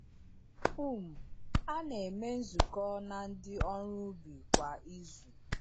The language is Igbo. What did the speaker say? um A na-eme nzukọ na ndị ọrụ ubi kwa izu.